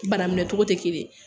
Bana minɛ cogo tɛ kelen ye.